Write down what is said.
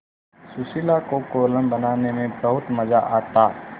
सुशीला को कोलम बनाने में बहुत मज़ा आता